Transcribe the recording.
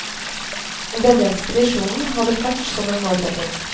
Denne ekspedisjonen hadde fart som en målsetting.